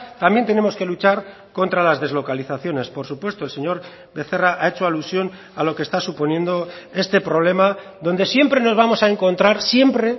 también tenemos que luchar contra las deslocalizaciones por supuesto el señor becerra ha hecho alusión a lo que está suponiendo este problema donde siempre nos vamos a encontrar siempre